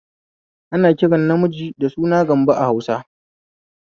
Ana kiran namiji da suna Gambo a Hausa